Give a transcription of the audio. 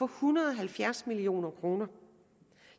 hundrede og halvfjerds million kroner